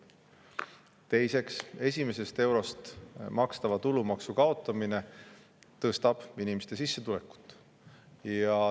Teiseks, esimesest eurost makstava tulumaksu kaotamine tõstab inimeste sissetulekuid.